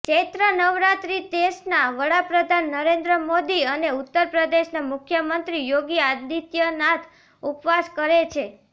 ચૈત્ર નવરાત્રિ દેશના વડાપ્રધાન નરેન્દ્ર મોદી અને ઉત્તર પ્રદેશના મુખ્યમંત્રી યોગી આદિત્યનાથ ઉપવાસ કરે છે